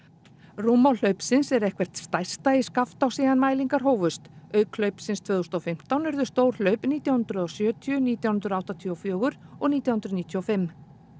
rúmmál hlaupsins nú er eitthvert stærsta í Skaftá síðan mælingar hófust auk hlaupsins tvö þúsund og fimmtán urðu stór hlaup nítján hundruð og sjötíu nítján hundruð áttatíu og fjögur og nítján hundruð níutíu og fimm